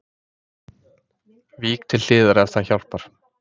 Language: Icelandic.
Vík til hliðar ef það hjálpar